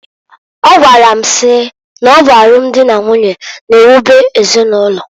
Ọgwara m si n'ọ bụ alum dị na nwunye na ewube ezinụlọ.